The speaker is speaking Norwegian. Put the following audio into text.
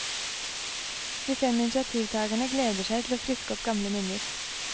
De fem initiativtagerne gleder seg til å friske opp gamle minner.